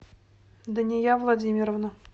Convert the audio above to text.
дания владимировна